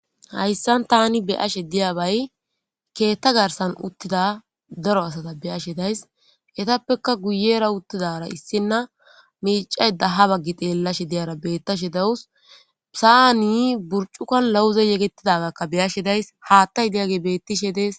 hayssan tani beyashe diyabay keetta garsan uttida daro asata beyashe days etappeka guyera uttidara issinna miicay daha baggi xeellashe diyara bettashe dawus phisaani burcuka lawuze yegetidagakka beyashe days haattay diyage bettishe dees